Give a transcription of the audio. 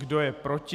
Kdo je proti?